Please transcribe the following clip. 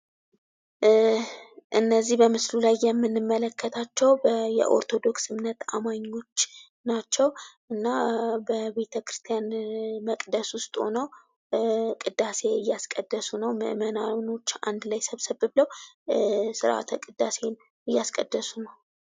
በምስሉ ላይ የምንመለከታቸው የኦርቶዶክስ ተዋህዶ እምነትን አማኞች ናቸው። በቤተ ክርስቲያን መቅደስ ውስጥ ሆነው ቅዳሴ እያስቀደሱ ነው።